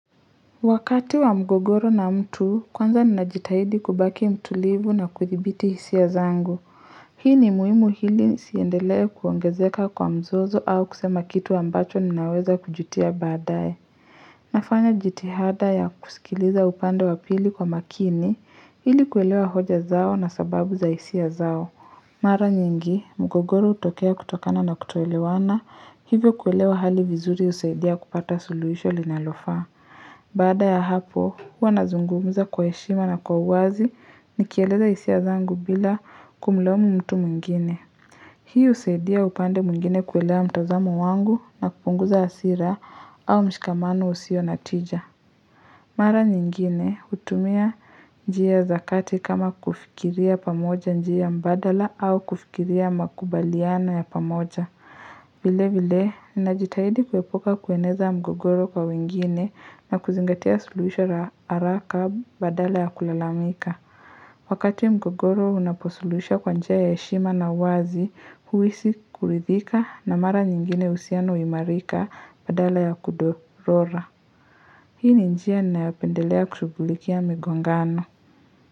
Wakati wa mgogoro na mtu, kwanza ninajitahidi kubaki mtulivu na kudhibiti hisia zangu. Hii ni muimu hili nisiendelee kuongezeka kwa mzozo au kusema kitu ambacho ninaweza kujutia baadaye. Nafanya jitihada ya kusikiliza upande wa pili kwa makini, ili kuelewa hoja zao na sababu za hisia zao. Mara nyingi, mgogoro hutokea kutokana na kutoelewana, hivyo kuelewa hali vizuri husaidia kupata suluhisho linalofaa. Baada ya hapo, huwa nazungumuza kwa heshima na kwa uwazi nikieleza hisia zangu bila kumlaumu mtu mwingine. Hii husaidia upande mwngine kuelewa mtozamo wangu na kupunguza hasira au mshikamano usio natija. Mara nyingine hutumia njia zakati kama kufikiria pamoja njia mbadala au kufikiria makubaliano ya pamoja. Vile vile, ninajitahidi kuepuka kueneza mgogoro kwa wengine na kuzingatia suluhisho la haraka badala ya kulalamika. Wakati mgogoro unaposuluhishwa kwa njia ya heshima na wazi, huhisi kuridhika na mara nyingine uhusiano wimarika badala ya kudorora. Hii ni njia ninayopendelea kushughulikia migongano.